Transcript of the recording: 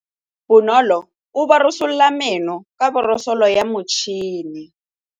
Bonolô o borosola meno ka borosolo ya motšhine.